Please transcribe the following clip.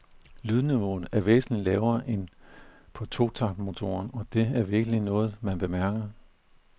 Lydniveauet er væsentlig lavere end på to takt motoren, og det er virkelig noget man bemærker.